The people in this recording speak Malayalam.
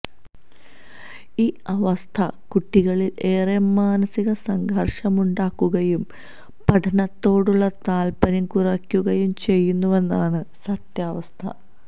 ഈ അവസ്ഥ കുട്ടികളില് ഏറെ മാനസിക സംഘര്ഷമുണ്ടാക്കുകയും പഠനത്തോടുള്ള താല്പര്യം കുറക്കുകയും ചെയ്യുന്നുവെന്നതാണ് സത്യാവസ്ഥ